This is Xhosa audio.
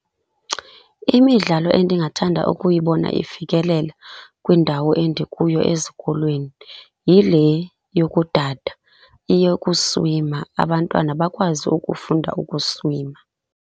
Imidlalo endingathanda ukuyibona ifikelela kwindawo endikuyo ezikolweni yile yokudada, eyokuswima, abantwana bakwazi ukufunda ukuswima.